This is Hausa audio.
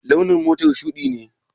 Launin motar shuɗi ne?